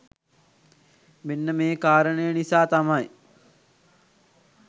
මේන්න මේ කාරණය නිසා තමයි